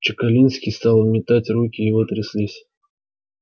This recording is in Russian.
чекалинский стал метать руки его тряслись